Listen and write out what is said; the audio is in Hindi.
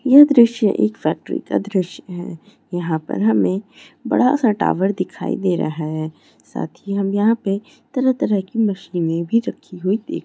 ये दृश्य एक फैक्ट्री का दृश्य है यहाँ पर हमे बड़ा सा टावर दिखाई दे रहा है साथ ही हम यहाँ पे तरह तरह की मशीने भी रखी हुई देख--